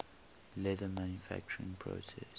leather manufacturing process